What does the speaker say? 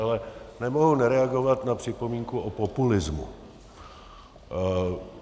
Ale nemohu nereagovat na připomínku o populismu.